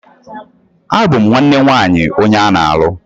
Abum nwanne nwaanyi onye ana-alu.